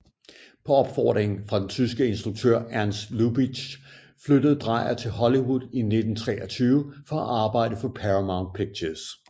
På opfordring fra den tyske instruktør Ernst Lubitsch flyttede Dreier til Hollywood i 1923 for at arbejde for Paramount Pictures